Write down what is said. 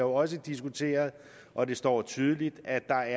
også diskuteret og det står tydeligt at der